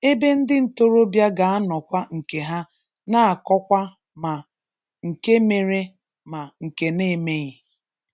ebe ndị ntorobịa ga-anọkwa nke ha na-akọkwa ma nke mere ma nke na-emeghi